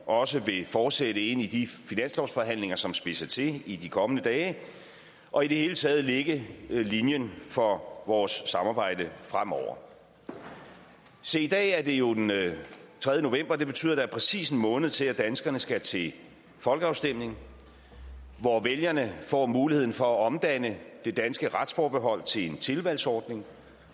også vil fortsætte ind i de finanslovsforhandlinger som spidser til i de kommende dage og i det hele taget lægge linjen for vores samarbejde fremover se i dag er det jo den tredje november det betyder at der er præcis en måned til at danskerne skal til folkeafstemning hvor vælgerne får muligheden for at omdanne det danske retsforbehold til en tilvalgsordning